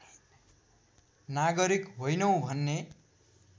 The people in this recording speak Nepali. नागरिक होइनौँ भन्ने